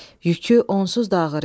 Yükü onsuz da ağır idi.